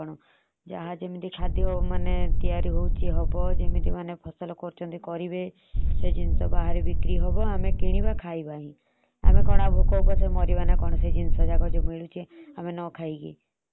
ଯାହା ଯେମତି ଖାଦ୍ୟ ତିଆରି ହଉଛି ହବ। ଯେମିତି ମାନେ ଫସଲ କରୁଛନ୍ତି କରିବେ। ବାହାରେ ବିକ୍ରି ହବ ଆମେ କିଣିବା ଖାଇବା ହିଁ। ଆମେ କଣ ଆଉ ଭୋକ ଓପାସ ରେ ମାରିବା ନା କଣ? ସେ ଜିନିଷ ନ ଖାଇକି।